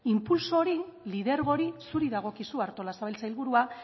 inpultso hori lidergo hori zuri dagokizu artolazabal sailburua